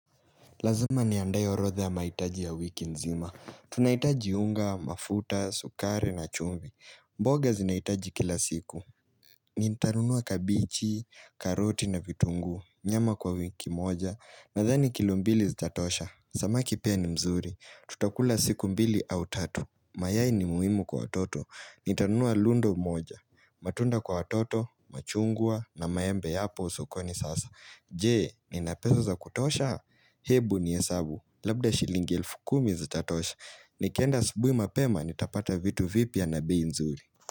Lazima nianadae horodha ya mahitaji ya wiki nzima. Tunahitaji unga, mafuta, sukari na chumvi. Mboga zinahitajika kila siku. Nitanunua kabichi, karoti na vitungu. Nyama kwa wiki moja. Nadhani kilo mbili zitatosha. Samaki pia ni mzuri. Tutakula siku mbili au tatu. Mayai ni muimu kwa watoto. Nitanunua rundo moja. Matunda kwa watoto, machungwa na maembe hapo sokoni sasa. Je, nina pesa za kutosha? Hebu ni hesabu, labda shilingi elfu kumi zitatosha, Nikenda asubuhi na mapema nitapata vitu vipya na bei nzuri.